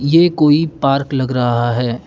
ये कोई पार्क लग रहा है।